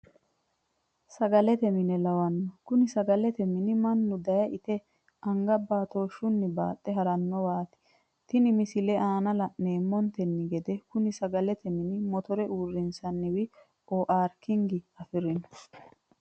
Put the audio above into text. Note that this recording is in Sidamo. Sagalete mine lawano, kuni sagalete m8ni manu daye ite age baatooshunni baaxxe haranowati, tene misilete aana la'neemontenni gede koni sagalete mini motore uurinsanni oaarkinge afirino